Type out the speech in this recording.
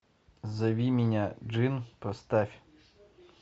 зови меня джинн поставь